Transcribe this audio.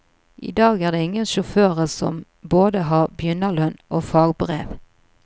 I dag er det ingen sjåfører som både har begynnerlønn og fagbrev.